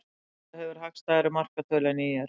Grótta hefur hagstæðari markatölu en ÍR